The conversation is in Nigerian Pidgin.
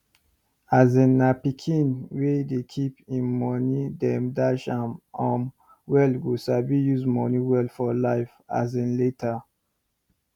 As una pikin wey dey keep im moni dem dash am um well go sabi use moni well for life as in later